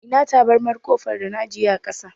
Ina tabarmar ƙofar da na ajiye a ƙasa.